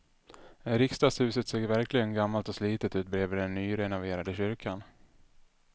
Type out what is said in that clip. Riksdagshuset ser verkligen gammalt och slitet ut bredvid den nyrenoverade kyrkan.